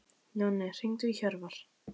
Jonni, hringdu í Hjörvar.